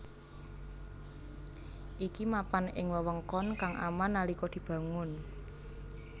Iki mapan ing wewengkon kang aman nalika dibangun